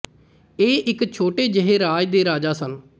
ਇਹ ਇਕ ਛੋਟੇ ਜਿਹੇ ਰਾਜ ਦੇ ਰਾਜਾ ਸਨ